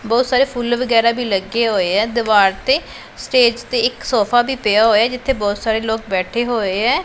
ਬਹੁਤ ਸਾਰੇ ਫੁੱਲ ਵਗੈਰਾ ਵੀ ਲੱਗੇ ਹੋਏ ਆ ਦੀਵਾਰ ਤੇ ਸਟੇਜ ਤੇ ਇੱਕ ਸੋਫਾ ਵੀ ਪਿਆ ਹੋਇਆ ਜਿੱਥੇ ਬਹੁਤ ਸਾਰੇ ਲੋਕ ਬੈਠੇ ਹੋਏ ਐ।